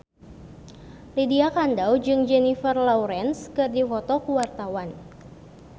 Lydia Kandou jeung Jennifer Lawrence keur dipoto ku wartawan